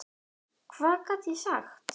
Hvað gat ég sagt?